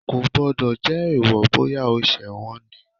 Kò gbọ́dọ̀ jẹ́ èèwọ̀, bóyá o ṣẹ̀ wọ́n ni.